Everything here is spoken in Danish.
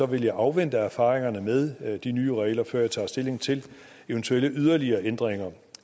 vil jeg afvente erfaringerne med de nye regler før jeg tager stilling til eventuelle yderligere ændringer